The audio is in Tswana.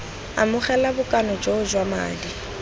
amogela bokana joo jwa madi